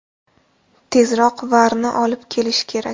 Tezroq VAR’ni olib kelish kerak.